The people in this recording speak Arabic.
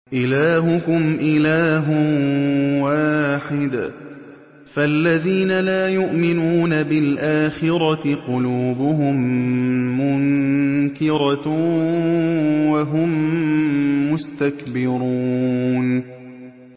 إِلَٰهُكُمْ إِلَٰهٌ وَاحِدٌ ۚ فَالَّذِينَ لَا يُؤْمِنُونَ بِالْآخِرَةِ قُلُوبُهُم مُّنكِرَةٌ وَهُم مُّسْتَكْبِرُونَ